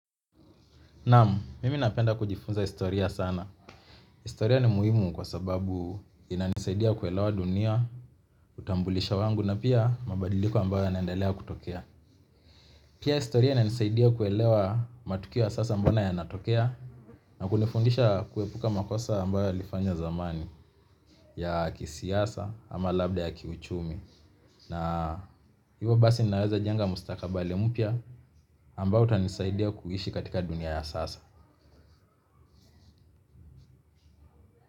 Naam, mimi napenda kujifunza historia sana. Historia ni muhimu kwa sababu inanisaidia kuelewa dunia, utambulisho wangu na pia mabadiliko ambayo yanaendelea kutokea. Pia historia inanisaidia kuelewa matukio ya sasa mbona yanatokea na kunifundisha kuepuka makosa ambayo yalifanywa zamani ya kisiasa ama labda ya kiuchumi. Na hivyo basi naweza jenga mustakabali mpya ambao utanisaidia kuishi katika dunia ya sasa.